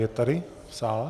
Je tady v sále?